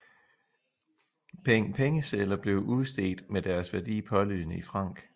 Peng Pengesedler blev udstedt med deres værdi pålydende i francs